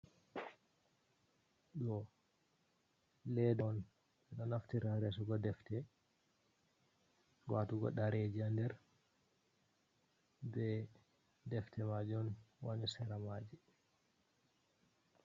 Ɗo leda on, ɗo naftira resugo defte, watugo ɗareji ha nder ɓe defte majun wani sera maji.